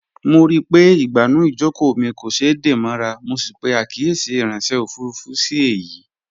Mo ríi pé ìgbànú ìjókòó mi kò ṣeé dè mọ́ra, mo sì pè àkíyèsí ìráńṣẹ́ òfurufú sí èyìí